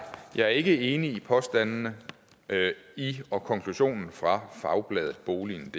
jeg er ikke enig i påstandene i og konklusionen fra fagbladetboligendk